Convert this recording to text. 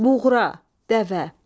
Buğra, dəvə.